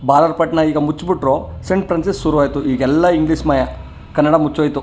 ಬಾಗಲ್ ಪಟ್ನಾ ಈಗ ಮುಚ್ಚ್ ಬಿಟ್ರು ಸಣ್ಣ್ ಫ್ರಾನ್ಸಸ್ ಶುರು ಆಯಿತು ಈಗೆಲ್ಲಾ ಇಂಗ್ಲಿಷ್ ಮಯಾ ಕನ್ನಡ ಮುಚ್ಚೋಯ್ತು .